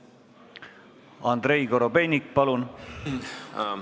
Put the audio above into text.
Andrei Korobeinik, palun!